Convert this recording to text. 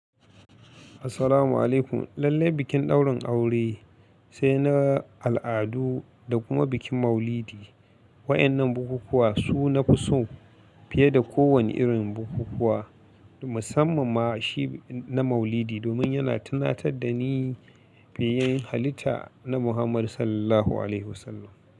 Assalamu'alaikum. Lallai bikin ɗaurin aure sai na al'adu da kuma bikin Maulidi. Wayannan bukukuwa su na fi so fiye da kowane irin bukukuwa. Musamman ma shi na Maulidi domin yana tunatar da ni fiyayyen halitta annabi Muhammad Sallallahu Alaihi Wasallam.